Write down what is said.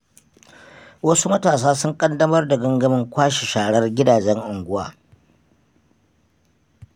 Wasu matasa sun ƙaddamar da gangamin kwashe sharar gidajen unguwa.